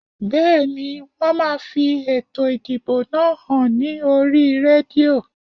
Bẹ́ẹ̀ni, wón máa fi ètò ìdìbò náà hàn ní oríi rédíò